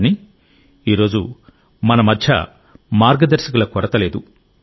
కానీ ఈ రోజు మన మధ్య మార్గదర్శకుల కొరత లేదు